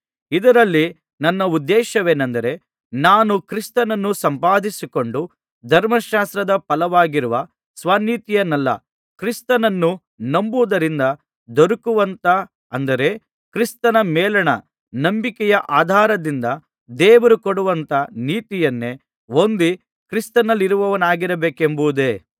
ಇದರಲ್ಲಿ ನನ್ನ ಉದ್ದೇಶವೇನೆಂದರೆ ನಾನು ಕ್ರಿಸ್ತನನ್ನು ಸಂಪಾದಿಸಿಕೊಂಡು ಧರ್ಮಶಾಸ್ತ್ರದ ಫಲವಾಗಿರುವ ಸ್ವನೀತಿಯನ್ನಲ್ಲ ಕ್ರಿಸ್ತನನ್ನು ನಂಬುವುದರಿಂದ ದೊರಕುವಂಥ ಅಂದರೆ ಕ್ರಿಸ್ತನ ಮೇಲಣ ನಂಬಿಕೆಯ ಆಧಾರದಿಂದ ದೇವರು ಕೊಡುವಂಥ ನೀತಿಯನ್ನೇ ಹೊಂದಿ ಕ್ರಿಸ್ತನಲ್ಲಿರುವವನಾಗಿರಬೇಕೆಂಬುದೇ